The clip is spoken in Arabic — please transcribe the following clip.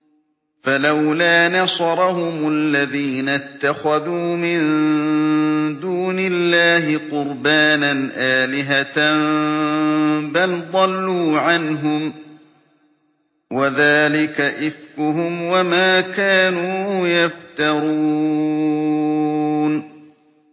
فَلَوْلَا نَصَرَهُمُ الَّذِينَ اتَّخَذُوا مِن دُونِ اللَّهِ قُرْبَانًا آلِهَةً ۖ بَلْ ضَلُّوا عَنْهُمْ ۚ وَذَٰلِكَ إِفْكُهُمْ وَمَا كَانُوا يَفْتَرُونَ